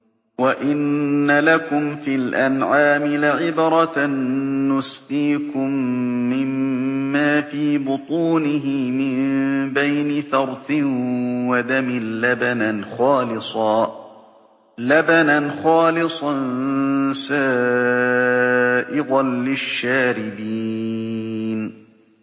وَإِنَّ لَكُمْ فِي الْأَنْعَامِ لَعِبْرَةً ۖ نُّسْقِيكُم مِّمَّا فِي بُطُونِهِ مِن بَيْنِ فَرْثٍ وَدَمٍ لَّبَنًا خَالِصًا سَائِغًا لِّلشَّارِبِينَ